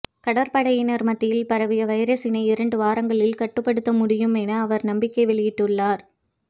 கடற்படையினர் மத்தியில் பரவிய வைரசினை இரண்டு வாரங்களில் கட்டுப்படுத்த முடியும் என அவர் நம்பிக்கை வெளியிட்டுள்ளார்